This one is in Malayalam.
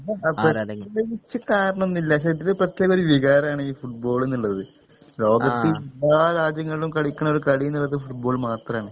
അത് പ്രത്യേകിച്ച് കാരണൊന്നില്ല പക്ഷെ ഇതില് പ്രത്യേകൊരു വികാരാണ് ഈ ഫുട്ബാൾന്ന്ള്ളത് ലോകത്ത് എല്ലാ രാജ്യങ്ങളിലും കളിക്ക്ണൊരു കളിന്ന്ള്ളത് ഫുട്ബോൾ മാത്രാണ്